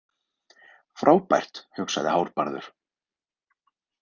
Frábært, hugsaði Hárbarður.